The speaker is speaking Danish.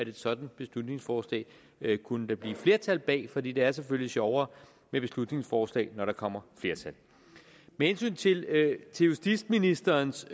et sådant beslutningsforslag kunne blive flertal bag for det det er selvfølgelig sjovere med beslutningsforslag når der kommer flertal med hensyn til justitsministerens